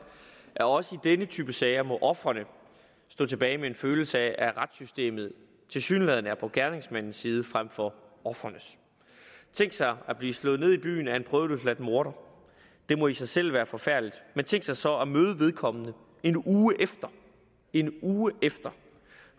at også i denne type sager må ofrene stå tilbage med en følelse af at retssystemet tilsyneladende er på gerningsmandens side frem for ofrenes tænk sig at blive slået ned i byen af en prøveløsladt morder det må i sig selv være forfærdeligt men tænk sig så at møde vedkommende en uge efter en uge efter